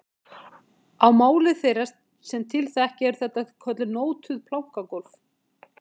Á máli þeirra sem til þekkja eru þetta kölluð nótuð plankagólf